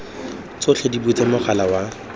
tsotlhe di butswe mogala wa